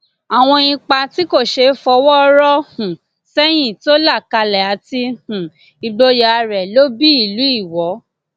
àwọn ipa tí kò ṣeé fọwọ rọ um sẹyìn tó là kalẹ àti um ìgboyà rẹ ló bí ìlú iwọ